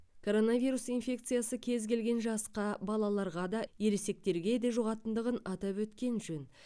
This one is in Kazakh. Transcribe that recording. коронавирус инфекциясы кез келген жасқа балаларға да ересектерге де жұғатындығын атап өткен жөн